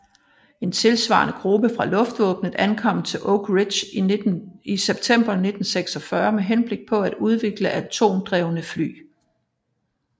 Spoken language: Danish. En tilsvarende gruppe fra luftvåbenet ankom til Oak Ridge i september 1946 med henblik på at udvikle atomdrevne fly